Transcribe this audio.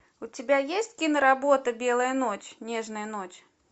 у тебя есть киноработа белая ночь нежная ночь